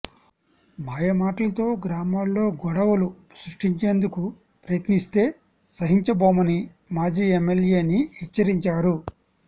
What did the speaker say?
మాయమాటలతో గ్రామాల్లో గొడవలు సృష్టించేందుకు ప్రయత్నిస్తే సహించబోమని మాజీ ఎమ్మెల్యేని హెచ్చరించారు